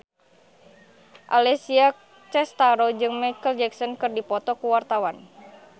Alessia Cestaro jeung Micheal Jackson keur dipoto ku wartawan